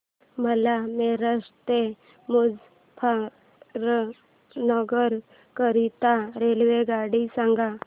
मला मेरठ ते मुजफ्फरनगर करीता रेल्वेगाडी सांगा